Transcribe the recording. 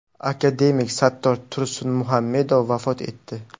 Akademik Sattor Tursunmuhammedov vafot etdi.